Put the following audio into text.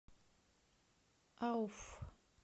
ауфф